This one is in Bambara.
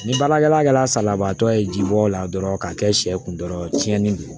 Ni baarakɛla salabaatɔ ye jibɔ la dɔrɔn ka kɛ sɛ kun dɔrɔn ye tiɲɛni don